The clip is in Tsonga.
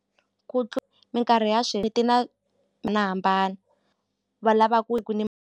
Ku minkarhi ya leti na mina hambana va lava ku ku .